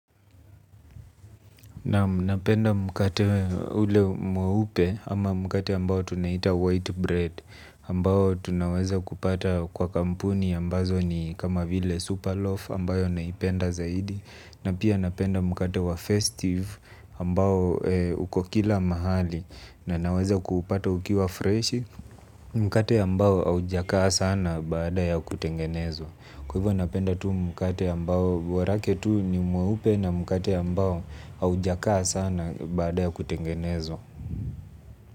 Naam, napenda mkate ule mweupe ama mkate ambao tunaita white bread, ambao tunaweza kupata kwa kampuni ambazo ni kama vile super loaf ambayo naipenda zaidi, na pia napenda mkate wa festive ambao uko kila mahali na naweza kuupata ukiwa freshi mkate ambao haujaka sana baada ya kutengenezwa. Kwa hivyo napenda tu mkate ambao, borake tu ni mweupe na mkate ambao haujakaa sana baada ya kutengenezwa.